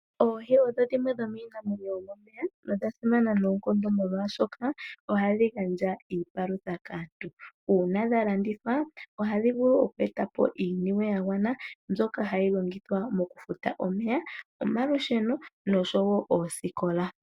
Oohi odho dhimwe dho miinamenyo yomomeya na odhasimana noonkondo molwashoka ohadhi gandja iipalutha kaantu, uuna dha landithwa ohadhi vulu oku eta po iiyemo yagwana mbyoka hayi longithwa okufuta omeya, omalusheno nosho wo osikola.